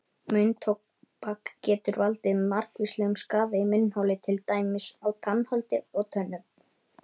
Munntóbak getur valdið margvíslegum skaða í munnholi til dæmis á tannholdi og tönnum.